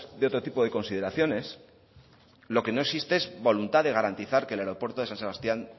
de otro tipo de consideraciones lo que no existe es voluntad de garantizar que el aeropuerto de san sebastián